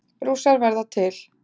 Rússar verða til